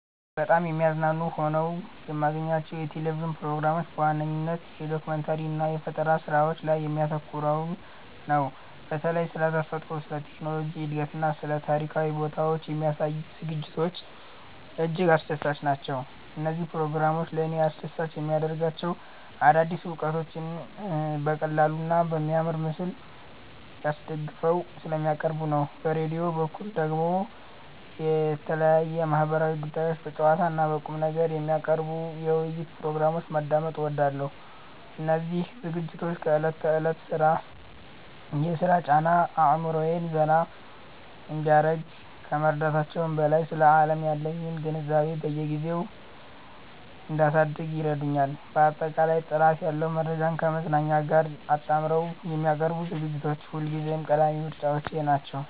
በጣም የሚያዝናኑ ሆነው የማገኛቸው የቴሌቪዥን ፕሮግራሞች በዋነኝነት የዶኩመንተሪ እና የፈጠራ ስራዎች ላይ የሚያተኩሩትን ነው። በተለይም ስለ ተፈጥሮ፣ ስለ ቴክኖሎጂ እድገትና ስለ ታሪካዊ ቦታዎች የሚያሳዩ ዝግጅቶች እጅግ አስደሳች ናቸው። እነዚህ ፕሮግራሞች ለእኔ አስደሳች የሚያደርጋቸው አዳዲስ እውቀቶችን በቀላሉና በሚያምር ምስል አስደግፈው ስለሚያቀርቡ ነው። በራዲዮ በኩል ደግሞ የተለያዩ ማህበራዊ ጉዳዮችን በጨዋታና በቁምነገር የሚያቀርቡ የውይይት ፕሮግራሞችን ማዳመጥ እወዳለሁ። እነዚህ ዝግጅቶች ከዕለት ተዕለት የሥራ ጫና አእምሮዬን ዘና እንዲያደርግ ከመርዳታቸውም በላይ፣ ስለ ዓለም ያለኝን ግንዛቤ በየጊዜው እንዳሳድግ ይረዱኛል። ባጠቃላይ ጥራት ያለው መረጃን ከማዝናናት ጋር አጣምረው የሚያቀርቡ ዝግጅቶች ሁልጊዜም ቀዳሚ ምርጫዎቼ ናቸው።